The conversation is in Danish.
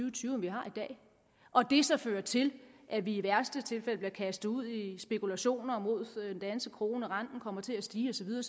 og tyve end vi har i dag og det så fører til at vi i værste tilfælde bliver kastet ud i spekulationer mod den danske krone og renten kommer til at stige og så videre